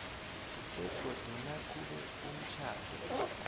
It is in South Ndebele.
begodu nakube umtjhado